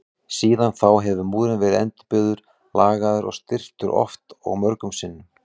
Síðan þá hefur múrinn verið endurbyggður, lagaður og styrktur oft og mörgum sinnum.